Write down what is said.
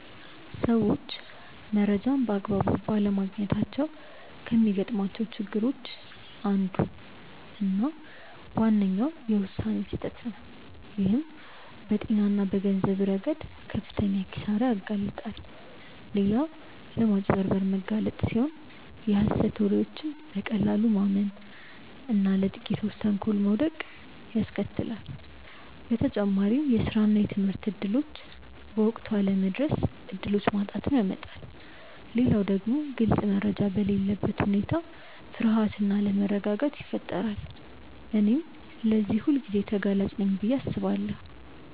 ሰዎች መረጃን በአግባቡ ባለማግኘታቸው ከሚገጥሟቸው ችግሮች አንዱና ዋነኛው የውሳኔ ስህተት ነው፣ ይህም በጤና እና በገንዘብ ረገድ ለከፍተኛ ኪሳራ ያጋልጣል። ሌላው ለማጭበርበር መጋለጥ ሲሆን የሀሰት ወሬዎችን በቀላሉ ማመን እና ለጥቂቶች ተንኮል መውደቅን ያስከትላል። በተጨማሪም የስራ እና የትምህርት እድሎች በወቅቱ አለመድረስ እድሎችን ማጣትን ያመጣል። ሌላው ደግሞ ግልጽ መረጃ በሌለበት ሁኔታ ፍርሃት እና አለመረጋጋት ይፈጠራል። እኔም ለዚህ ሁልጊዜ ተጋላጭ ነኝ ብዬ አስባለሁ።